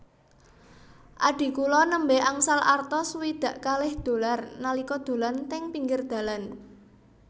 Adhi kula nembe angsal arta swidak kalih dolar nalika dolan teng pinggir dalan